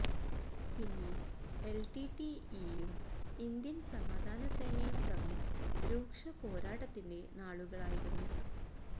പിന്നെ L T T ഇയും Indian സമാധാനസേനയും തമ്മില് രൂക്ഷ പോരാട്ടത്തിന്റെ നാളുകളായിരുന്നു